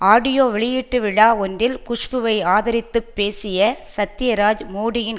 audio வெளியீட்டு விழா ஒன்றில் குஷ்புவை ஆதரித்துப் பேசிய சத்யராஜ் மோடியின்